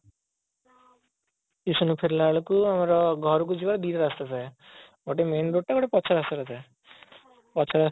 tuition ରୁ ଫେରିଲା ବେଳକୁ ମର ଘରକୁ ଯିବାକୁ ଦିଟା ରାସ୍ତା ଥାଏ ଗୋଟେ main road ଟା ଗୋଟେ ପଛ ରାସ୍ତାଟା ଥାଏ ପଛ ରାସ୍ତାରେ